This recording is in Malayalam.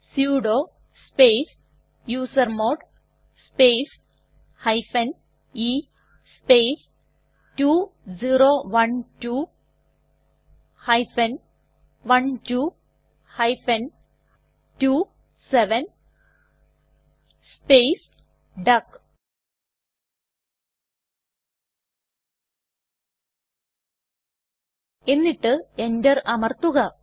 sudo space user mode space e space 2012 12 27 space duck എന്നിട്ട് enter അമർത്തുക